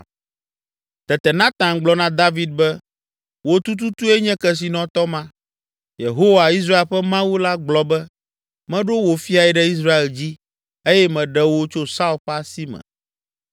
Tete Natan gblɔ na David be, “Wò tututue nye kesinɔtɔ ma! Yehowa, Israel ƒe Mawu la gblɔ be, ‘Meɖo wò fiae ɖe Israel dzi eye meɖe wò tso Saul ƒe asi me;